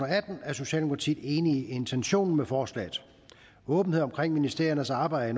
atten er socialdemokratiet enig i intentionen med forslaget åbenhed omkring ministeriernes arbejde